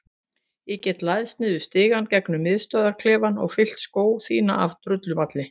Ég get læðst niður stigann gegnum miðstöðvarklefann og fyllt skó þína af drullumalli.